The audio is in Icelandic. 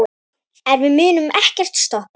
En við munum ekkert stoppa.